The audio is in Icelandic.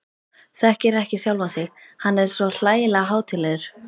Þekkir ekki sjálfan sig, hann er svo hlægilega hátíðlegur.